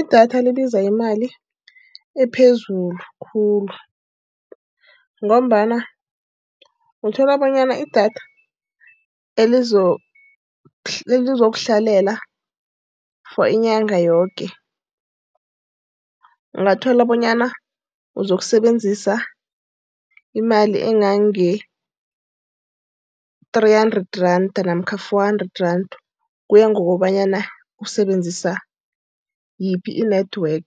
Idatha libiza imali ephezulu khulu, ngombana uthola bonyana idatha elizokuhlalela for inyanga yoke ungathola bonyana uzokusebenzisa imali engange-three hundred rand namkha four hundred rand. Kuya ngokobanyana usebenzisa yiphi i-network.